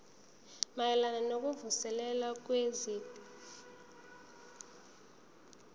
mayelana nokuvuselela kwezwekazi